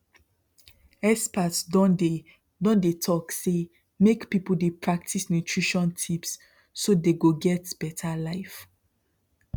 experts don dey don dey talk say make people dey practice nutrition tips so they go get better life